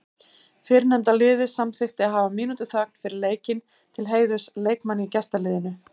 Fyrrnefnda liðið samþykkti að hafa mínútu þögn fyrir leikinn til heiðurs leikmanni í gestaliðinu.